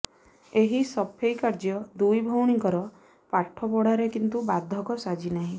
ଏହି ସଫେଇ କାର୍ଯ୍ୟ ଦୁଇ ଭଉଣୀଙ୍କର ପାଠପଢ଼ାରେ କିନ୍ତୁ ବାଧକ ସାଜିନାହିଁ